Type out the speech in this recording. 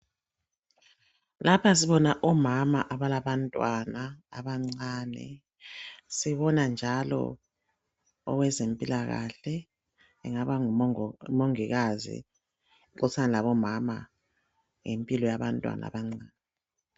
Lapha sibona omama abalabantwana abancane sibona njalo owezempilakahke engaba ngumongikazi uxoxisana labomama ngempilo yabantwana abancane.